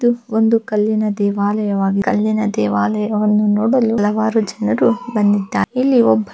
ಇದು ಒಂದು ಕಲ್ಲಿನ ದೇವಾಲಯ ವಾಗಿದ್ದು ಕಲ್ಲಿನ ದೇವಾಲಯವನ್ನು ನೋಡಲು ಹಲವಾರು ಜನರು ಬಂದಿದ್ದಾರೆ ಇಲ್ಲಿ ಒಬ್ಬ--